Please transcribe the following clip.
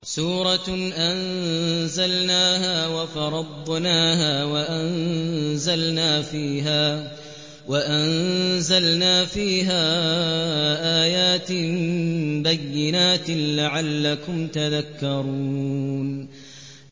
سُورَةٌ أَنزَلْنَاهَا وَفَرَضْنَاهَا وَأَنزَلْنَا فِيهَا آيَاتٍ بَيِّنَاتٍ لَّعَلَّكُمْ تَذَكَّرُونَ